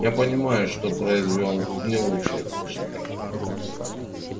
я понимаю что произвёл не лучшее впечатление